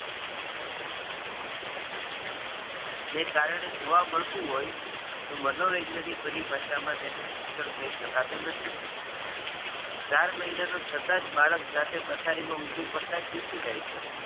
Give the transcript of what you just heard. ને કારણે જોવા મળતું હોય, તો મનોરંજન ની પરિભાષા માં તેને શિક્ષણ કહી શકતું નથી. ચાર મહિના નું છતાં જ બાળક જાતે પથારી માં ઊંધું પડતાં શીખી જાય છે.